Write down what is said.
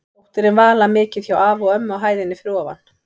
Dóttirin Vala mikið hjá afa og ömmu á hæðinni fyrir ofan.